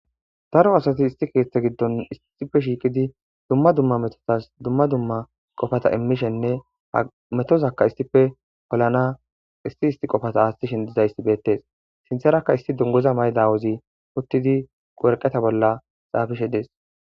Daro asati issi keththa giddon issippe shiiqqidi dumma dumma metotas dumma dumma qoopata iimishenne metozakka issippe poolanaw issi issi qoopa aaththishe dizayssi bettes sinththarakka issi dunguza mayida aawozi uuttidii waraqatta bolla xaafishe dees